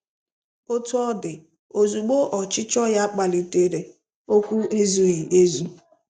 Otú ọ dị, ozugbo ọchịchọ ya kpalitere, okwu ezughị ezu.